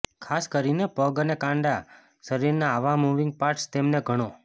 ખાસ કરીને પગ અને કાંડા શરીરના આવા મૂવિંગ પાર્ટ્સ તેમને ઘણો